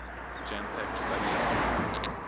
jam packed floodlit guru